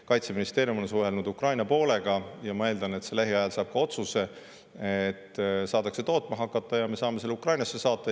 Kaitseministeerium on suhelnud Ukraina poolega ja ma eeldan, et lähiajal ka otsus ning saadakse tootma hakata ja me saame selle Ukrainasse saata.